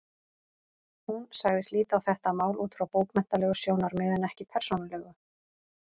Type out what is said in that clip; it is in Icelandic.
Hún sagðist líta á þetta mál út frá bókmenntalegu sjónarmiði en ekki persónulegu.